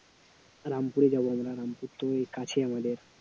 রামপুরে যাব আমরা রামপুর তো কাছে আমাদের